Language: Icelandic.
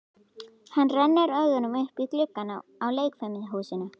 Hann rennir augunum upp í gluggana á leikfimihúsinu.